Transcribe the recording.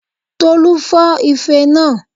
Tolú fọ́ ife naa